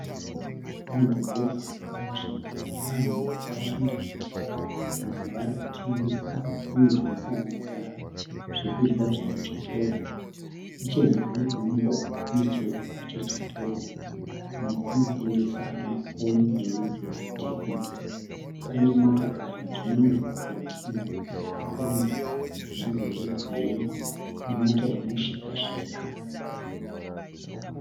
Mudhorobha panzvimbo pane vanhu vakawanda. Vamwe vari kutengesa zvinhu zvinosanganisira zvekudya zvemuchitoro. Nechemhiri kwemugwagwa kune chivakwa chechitoro. Chimwe chinotengesa mafoni erudzi rwe Techno. Pane motokari dziri mumugwagwa dzinosanganisira kombi yerudzi rwegireyi nemota yemu shika shika.